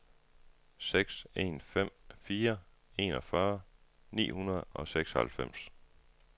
seks en fem fire enogfyrre ni hundrede og seksoghalvfems